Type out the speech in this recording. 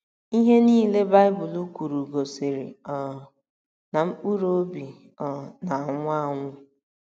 Ihe a niile Baịbụl kwuru gosiri um na mkpụrụ obi um na - anwụ anwụ.